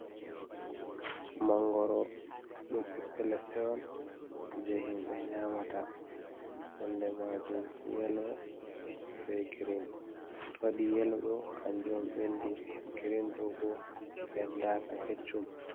Mangoro ɗum ɓiɓɓe leɗɗe on jei himɓe nyamata, nonde majum yelo be girin to waɗi yelo ɗo kanjum ɓendi, girin ɗo bo ɓendaaka keccum.